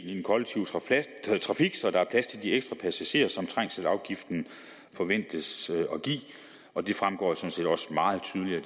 i den kollektive trafik så der er plads til de ekstra passagerer som trængselsafgiften forventes at give og det fremgår jo sådan set også meget tydeligt af